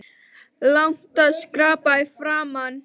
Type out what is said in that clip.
Langar að skyrpa framan í hann.